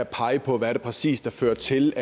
pege på hvad der præcist har ført til